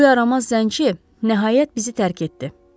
Bu yaramaz zənci nəhayət bizi tərk etdi.